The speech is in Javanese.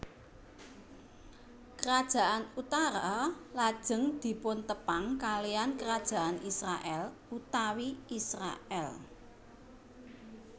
Kerajaan utara lajeng dipuntepang kaliyan Kerajaan Israèl utawi Israèl